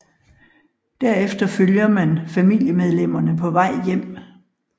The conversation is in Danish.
Derefter følger man familiemedlemmerne på vej hjem